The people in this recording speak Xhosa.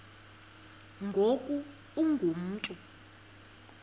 ngoku ungu mntu